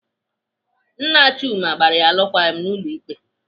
Nne Chuma gbara ya alụkwaghịm n'ụlọ ikpe.